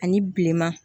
Ani bilenman